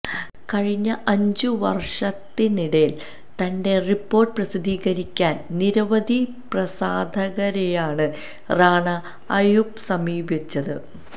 കഴിഞ്ഞ അഞ്ചു വര്ഷത്തിനിടയില് തന്റെ റിപ്പോര്ട്ട് പ്രസിദ്ധീകരിക്കാന് നിരവധി പ്രസാധകരെയാണ് റാണ അയ്യൂബ് സമീപിച്ചത്